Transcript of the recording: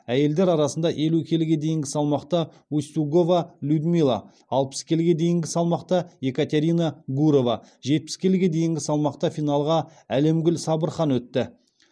әйелдер арасында елу келіге дейінгі салмақта устюгова людмила алпыс келіге дейінгі салмақта екатерина гурова жетпіс келіге дейінгі салмақта финалға алемгуль сабырхан өтті